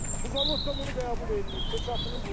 Bu zavod da bunu qəbul eləyib, peçatını vurub.